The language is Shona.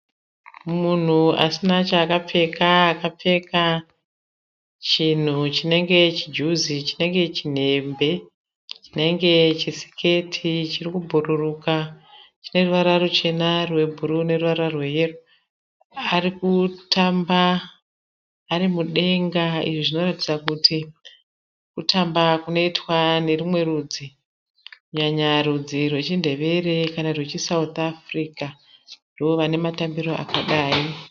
Munhu asina chaakapfeka. Akapfeka chinhu chinenge chijuzi, chinenge chinembe, chinenge chisiketi chiri kubhuruka chine ruvara ruchena, rwebhuruu neruvara rweyero. Ari kutamba ari mudenga. Izvi zvinoratidza kuti kutamba kunoita nerumwe rudzi kunyanya rudzi rwechiNdevere kana rudzi rwechiSouth Africa. Ndo vane matambiro akadai.